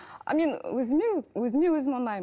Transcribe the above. а мен өзіме өзіме өзім ұнаймын